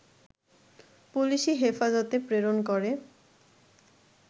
পুলিশি হেফাজতে প্রেরণ করে